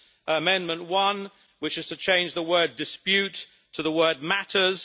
Amendment 1, which is to change the word dispute' to the word matters'.